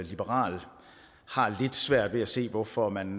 liberal har lidt svært ved at se hvorfor man